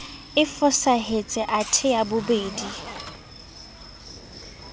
e fosahetse athe ya bobedi